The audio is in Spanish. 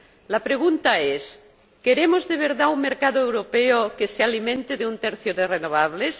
La pregunta es ¿queremos de verdad un mercado europeo que se alimente de un tercio de renovables?